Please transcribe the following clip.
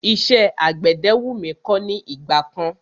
Iṣẹ́ àgbẹ̀dẹ wú mí kọ́ ní ìgbà kan.